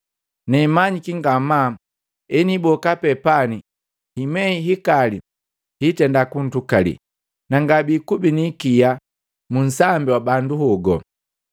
Nemanyiki ngamaa heniiboka pee pani himei hikali hitenda kuntukali, na ngabikubi ni ikia mu nsambi wa bandu hogo.